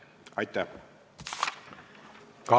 Aitäh!